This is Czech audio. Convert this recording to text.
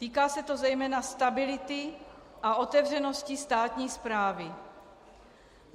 Týká se to zejména stability a otevřenosti státní správy.